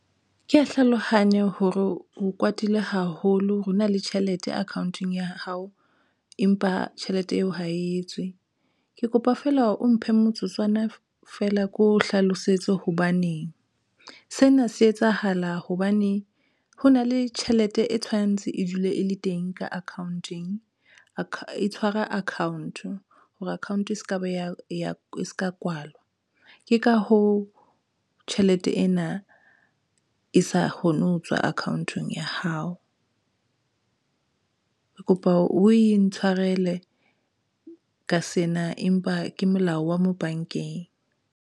Ke ya hlalohanya hore o kwatile haholo ho na le tjhelete account-ong ya hao, empa tjhelete eo ha etswe, ke kopa feela hore o mphe motsotswana feela, ke o hlalosetse hobaneng sena se etsahala hobane ho na le tjhelete e tshwantse e dule e le teng ka account-eng a tshwara account hore account se ka ba ya se ka kwalwa ke ka ho tjhelete ena e sa kgone ho tswa account-ong ya hao. Ke kopa o intshwarele ka sena, empa ke molao wa mo bankeng.